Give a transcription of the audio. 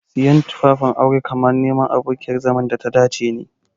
Siyan tufafin aure kamar neman abokiyar zaman data dace ne.